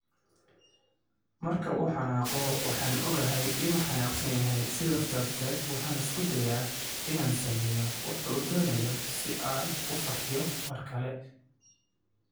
"Marka uu xanaaqo, waxaan ogahay inuu xanaaqsan yahay, sidaas darteed waxaan isku dayaa inaan sameeyo waxa uu doonayo si uu u farxiyo mar kale."